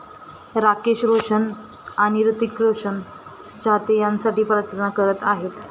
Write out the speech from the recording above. राकेश रोशन आणि हृतिक रोशनचे चाहते यासाठी प्रार्थना करत आहेत.